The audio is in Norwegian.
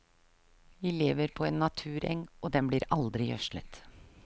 Vi lever på en natureng, og den blir aldri gjødslet.